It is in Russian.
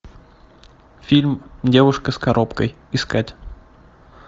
фильм девушка с коробкой искать